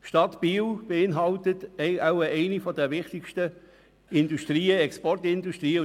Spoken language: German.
Sie ist Standort der Uhrenindustrie, einer der wichtigsten Exportindustrien.